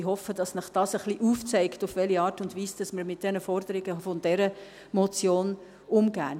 Ich hoffe, dass Ihnen das ein wenig aufzeigt, auf welche Art und Weise wir mit diesen Forderungen dieser Motion umgehen.